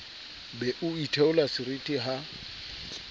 be o itheola seriti ha